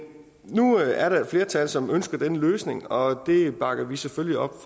nu er der et flertal som ønsker denne løsning og det bakker vi selvfølgelig op